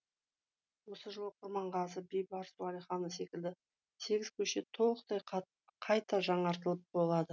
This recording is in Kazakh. осы жылы құрманғазы бейбарыс уәлиханов секілді сегіз көше толықтай қайта жаңартылатын болады